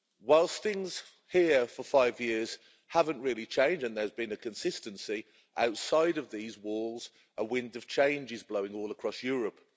Whilst things here for five years haven't really changed and there's been a consistency outside of these walls, a wind of change is blowing all across Europe.